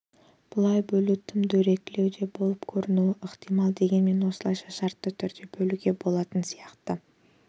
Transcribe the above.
бұлай бөлу тым дөрекілеу де болып көрінуі ықтимал дегенмен осылайша шартты түрде бөлуге болатын сияқты